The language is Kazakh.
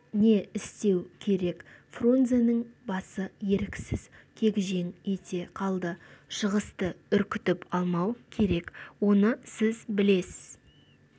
не істеу керек фрунзенің басы еріксіз кегжең ете қалды шығысты үркітіп алмау керек оны сіз білесіз